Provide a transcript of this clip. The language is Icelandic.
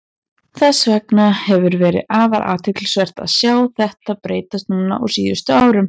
Þess vegna hefur verið afar athyglisvert að sjá þetta breytast núna á síðustu árum.